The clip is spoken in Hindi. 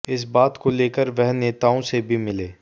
इस बात को लेकर वह नेताओं से भी मिले